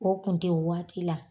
O kun te waati la